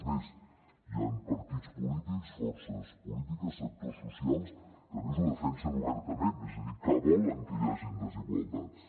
és més hi han partits polítics forces polítiques sectors socials que a més ho defensen obertament és a dir que volen que hi hagi desigualtats